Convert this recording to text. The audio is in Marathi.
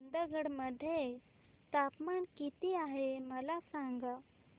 चंदगड मध्ये तापमान किती आहे मला सांगा